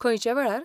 खंयच्या वेळार?